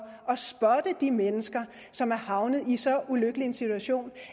at de mennesker som er havnet i så ulykkelig en situation